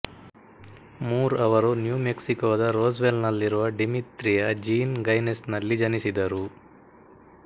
ಮೂರ್ ಅವರು ನ್ಯೂ ಮೆಕ್ಸಿಕೋದ ರೋಸ್ವೆಲ್ನಲ್ಲಿರುವ ಡಿಮಿತ್ರಿಯ ಜೀನ್ ಗಯ್ನೆಸ್ ನಲ್ಲಿ ಜನಿಸಿದರು